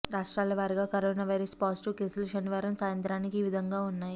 రాష్ట్రాల వారీగా corona virus positive కేసులు శనివారం సాయంత్రానికి ఈ విధంగా ఉన్నాయి